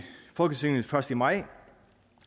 folketinget først i maj